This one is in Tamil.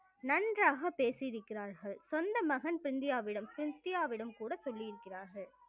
நன்றாக பேசியிருக்கிறார்கள் சொந்த மகன் பிந்தியாவிடம் சின்சியாவிடம் கூட சொல்லியிருக்கிறார்கள்